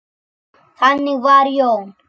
Þannig var Jón.